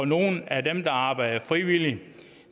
nogle af dem der arbejder frivilligt